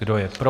Kdo je pro?